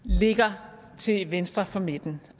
ligger til venstre for midten